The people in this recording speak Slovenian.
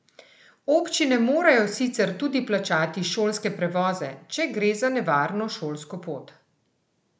Občine morajo sicer tudi plačati šolske prevoze, če gre za nevarno šolsko pot.